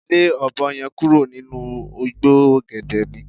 Le ọ̀bọ ye̩n kúrò nínú igbó ò̩gè̩dè̩ mi